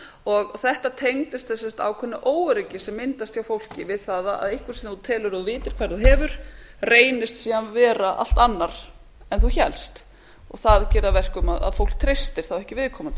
og þetta tengdist sem sagt ákveðnu óöryggi sem myndast hjá fólki við það að einhver sem þú telur að þú vitir hvar þú hefur reynist síðan vera allt annar en þú hélst og það geri það að verkum að fólk treysti þá ekki viðkomandi